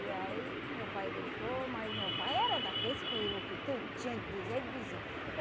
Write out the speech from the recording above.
E aí meu pai deixou, mas meu pai era daqueles que o que tem tinha de dizer, ele dizia.